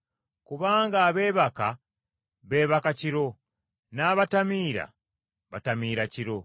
Kubanga abeebaka beebaka kiro, n’abatamiira batamiira kiro.